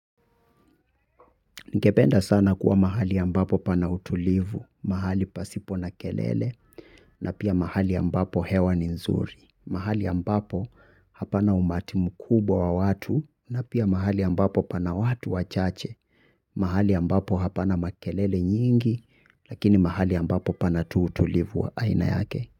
Ningependa sana kuwa mahali ambapo pana utulivu, mahali pasipo na kelele, na pia mahali ambapo hewa ni nzuri, mahali ambapo hapana umati mkubwa wa watu, na pia mahali ambapo pana watu wachache, mahali ambapo hapana makelele nyingi, lakini mahali ambapo pana tu utulivu wa aina yake.